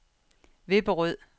Vipperød